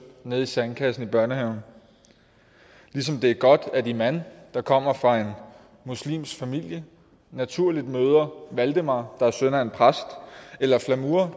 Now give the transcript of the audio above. nede i sandkassen i børnehaven ligesom det er godt at iman der kommer fra en muslimsk familie naturligt møder valdemar der er søn af en præst eller at flamur